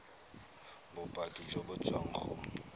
bopaki jo bo tswang go